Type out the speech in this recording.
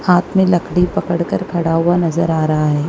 हाथ में लकड़ी पकड़कर खड़ा हुआ नज़र आ रहा है।